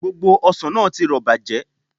Gbogbo ọsàn náà ti rọ̀ bàjẹ́